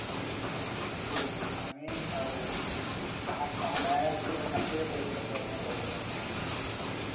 হম পরে নিচ্ছি আমি আরও এখন Hindi syllabus আসতেছে তো Hindi পড়াশোনা করতে হবে আমাকে.